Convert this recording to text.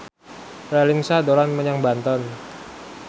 Raline Shah dolan menyang Banten